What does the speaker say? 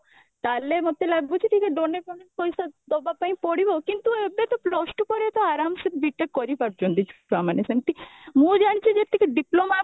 ତାହେଲ ମୋତେ ଲାଗୁଛି ଟିକେ donate ଫୋନେଟ ପଇସା ଦବା ପାଇଁ ପଡିବ କିନ୍ତୁ ଏବେ ତ plus two ପରେ ତ ଆରମସେ B.TECH କରିପାରୁଛନ୍ତି ଛୁଆମାନେ ସେମିତି ମୁଁ ଜାଣିଛି ଯେତିକି diploma